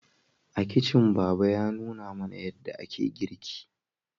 A kicin baba ya nuna mana yadda ake girki